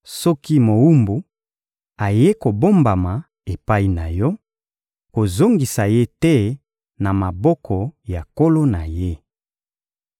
Soki mowumbu ayei kobombama epai na yo, kozongisa ye te na maboko ya nkolo na ye.